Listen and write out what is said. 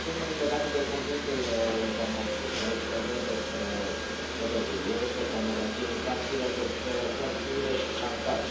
În primul rând, legate de conținutul internetului, și aici vorbesc despre pedofilie, despre pornografie infantilă, despre hărțuire și șantaj.